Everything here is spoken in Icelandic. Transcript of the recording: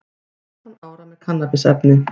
Fimmtán ára með kannabisefni